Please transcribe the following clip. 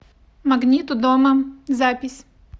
магнит у дома запись